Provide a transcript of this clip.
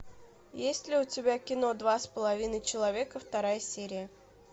есть ли у тебя кино два с половиной человека вторая серия